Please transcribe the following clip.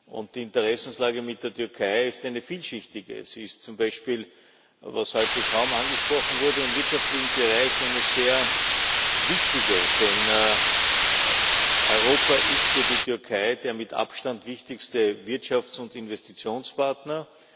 Und die Interessenslage mit der Türkei ist eine vielschichtige. Sie ist zum Beispiel was heute kaum angesprochen wurde im wirtschaftlichen Bereich eine sehr wichtige, denn Europa ist für die Türkei der mit Abstand wichtigste Wirtschafts und Investitionspartner.